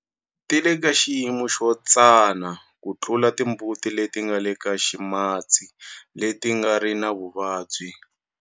Ti le ka xiyimo xo tsana ku tlula timbuti leti nga le ka ximatsi leti nga ri na vuvabyi.